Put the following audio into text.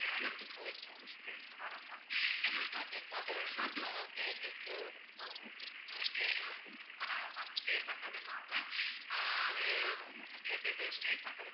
Save பண்றது.